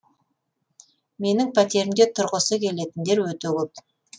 менің пәтерімде тұрғысы келетіндер өте көп